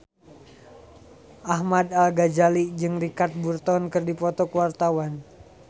Ahmad Al-Ghazali jeung Richard Burton keur dipoto ku wartawan